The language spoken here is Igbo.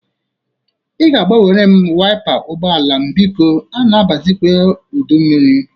Ị ga-agbanwere m wiapa ụgbọala m bikọ. A na-abazikwa udummiri.